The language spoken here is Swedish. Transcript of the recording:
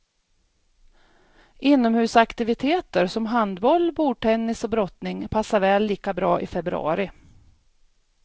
Inomhusaktiviteter som handboll, bordtennis och brottning passar väl lika bra i februari.